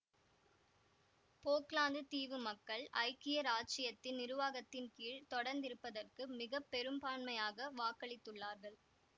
போக்லாந்து தீவு மக்கள் ஐக்கிய இராச்சியத்தின் நிருவாகத்தின் கீழ் தொடர்ந்திருப்பதற்குப் மிக பெரும்பான்மையாக வாக்களித்துள்ளார்கள்